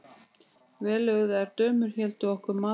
Vellauðugar dömur héldu okkur matarboð.